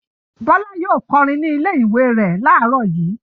Bọ́lá yóò kọrin ní ilé-ìwé rẹ̀ láàárọ̀ yìí.